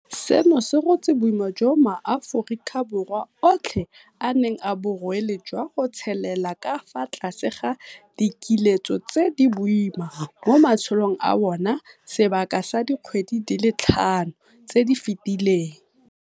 Seno se rotse boima jo maAforikaBorwa otlhe a neng a bo rwele jwa go tshelela ka fa tlase ga dikiletso tse di boima mo matshelong a bona sebaka sa dikgwedi di le tlhano tse di fetileng.